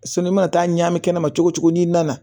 i mana taa ɲami kɛnɛ ma cogo cogo n'i nana